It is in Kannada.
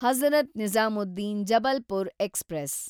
ಹಜರತ್ ನಿಜಾಮುದ್ದೀನ್ ಜಬಲ್ಪುರ್ ಎಕ್ಸ್‌ಪ್ರೆಸ್